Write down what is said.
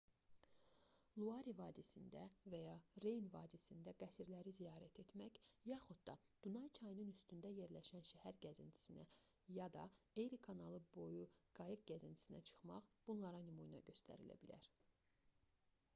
luarı vadisində və ya reyn vadisində qəsrləri ziyarət etmək yaxud da dunay çayının üstündə yerləşən şəhər gəzintisinə ya da eri kanalı boyu qayıq gəzintisinə çıxmaq bunlara nümunə göstərilə bilər